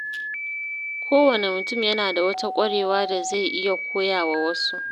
Kowane mutum yana da wata ƙwarewa da zai iya koya wa wasu.